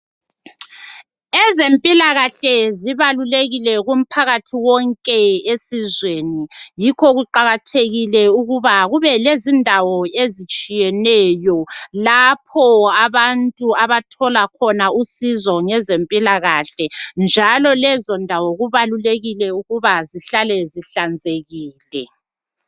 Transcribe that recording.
Ezempilakahle zibalulekile kumphakathi wonke esizweni yikho kuqakathekile ukuba kube lezindawo ezitshiyeneyo lapho abantu abathola khona usizo ngezempilakahle, njalo lezo ndawo kubalulekile ukuba zihlale zihlanzekile.